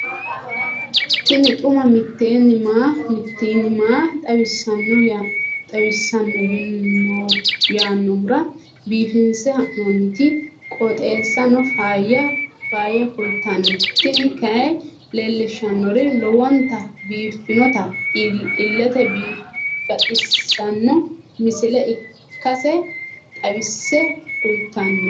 tini xuma mtini maa xawissanno yaannohura biifinse haa'noonniti qooxeessano faayya kultanno tini kayi leellishshannori lowonta biiffinota illete baxissanno misile ikkase xawisse kultanno.